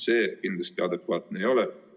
See kindlasti adekvaatne ei ole.